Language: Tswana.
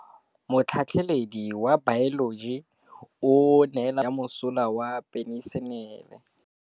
Motlhatlhaledi wa baeloji o neela baithuti tirwana ya mosola wa peniselene.